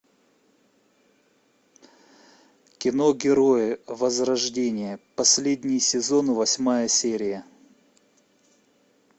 кино герои возрождение последний сезон восьмая серия